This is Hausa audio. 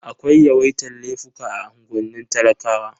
Akwai yawaitar laifuka a unguwannin talakawa.